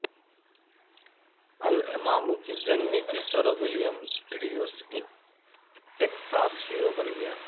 Alamo کی جنگ میں کس طرح ولیم ٹریوس ایک ٹیکساس ہیرو بن گیا